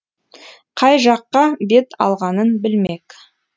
қай жаққа бет алғанын білмек